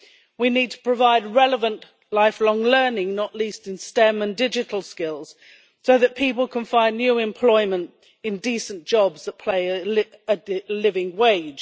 We need to provide relevant lifelong learning, not least in STEM and digital skills so that people can find new employment in decent jobs that pay a living wage.